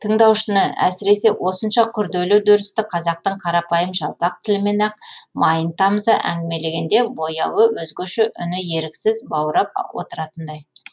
тыңдаушыны әсіресе осынша күрделі үдерісті қазақтың қарапайым жалпақ тілімен ақ майын тамыза әңгімелегенде бояуы өзгөше үні еріксіз баурап отыратындай